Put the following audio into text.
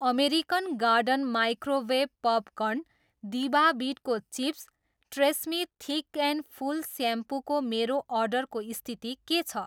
American Garden microwave popcorn, दिभा बिटको chips, TRESemme thick and full स्याम्पूको मेरो अर्डरको स्थिति के छ?